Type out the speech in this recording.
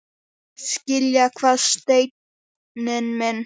Skilja hvað, Steini minn?